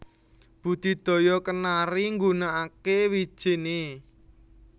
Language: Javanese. Budidaya kenari nggunakaké wijiné